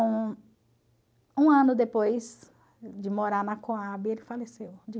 Um ano depois de morar na Cohab, ele faleceu.